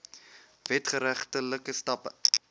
wet geregtelike stappe